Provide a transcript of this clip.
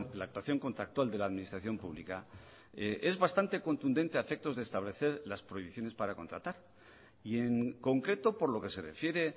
la actuación contractual de la administración pública es bastante contundente a efectos de establecer las prohibiciones para contratar y en concreto por lo que se refiere